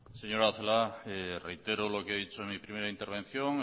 señora celaá reitero lo que he dicho en mi primera intervención